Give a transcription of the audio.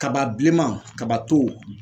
Kaba bilenman kaba to.